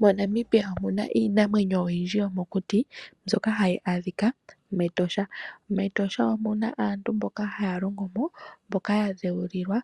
MoNamibia omuna iinamwenyo oyindji yomokuti mbyoka hayi adhika mEtosha, mEtosha omuna aantu mboka haya longo mo mboka yadhewulilwa